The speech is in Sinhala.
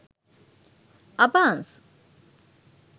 abans